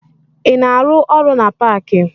Ị na-arụ ọrụ na paakị?